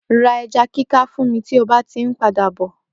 Ra eja kika fún mí ti o bá ti ń padà bọ!